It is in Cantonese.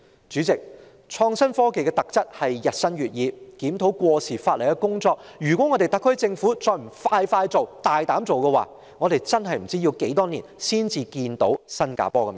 主席，創新科技的特質是日新月異，對於檢討過時法例的工作，如果特區政府還不趕快做，大膽做，我們真的不知要待多少年才看見新加坡的"尾燈"。